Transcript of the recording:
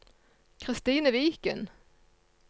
Christine Viken